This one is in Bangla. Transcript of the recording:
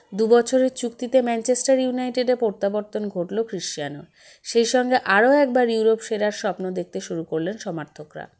দু বছরের চুক্তিতে ম্যানচেস্টার ইউনাইটেডের প্রত্যাবর্তন ঘটলো খৃষচানোর সেসঙ্গে আরও একবার ইউরোপ সেরার স্বপ্ন দেখতে শুরু করলেন সমার্থকরা